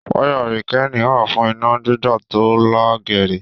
Wayà rekilini wà fún iná gbígba to là géèrè.